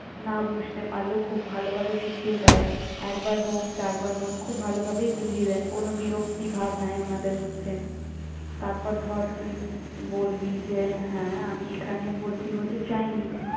না বুঝতে পারলেও খুব ভালোভাবে বুঝিয়ে দেয়, একবার হোক, চারবার হোক খুব ভালোভাবেই বুঝিয়ে দেন, কোনো বিরক্তিভাব নেই ওনাদের মধ্যে। তারপর ধর তুই বলবি যে, হ্যাঁ আমি এখানে ভর্তি হতে চাইনি।